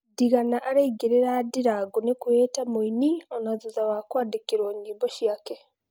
Ndigana araingĩrĩra Ndirangu nĩkwĩĩta mũini ona thutha wa kuandikĩruo nyĩmbo ciake